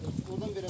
Ordan verin.